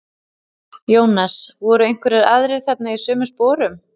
Jónas: Voru einhverjir aðrir þarna í sömu sporum?